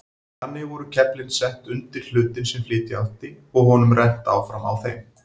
Þannig voru keflin sett undir hlutinn sem flytja átti og honum rennt áfram á þeim.